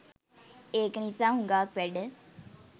ඒක නිසා හුගාක් වැඩ.